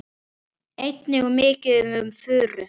Einnig er mikið um furu.